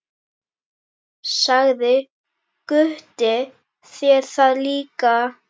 Sagði Gutti þér það líka?